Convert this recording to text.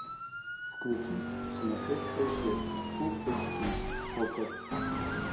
включи сумасшедшее сердце фулл эйч ди окко